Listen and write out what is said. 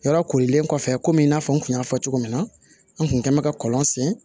Yɔrɔ korilen kɔfɛ komi i n'a fɔ n kun y'a fɔ cogo min na an kun kɛn bɛ ka kɔlɔn sen